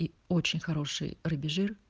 и очень хороший рыбий жир